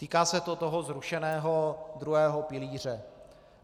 Týká se to toho zrušeného druhého pilíře.